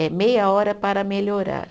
É meia hora para melhorar.